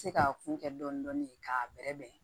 Se ka kun kɛ dɔɔnin dɔɔnin k'a bɛrɛ bɛn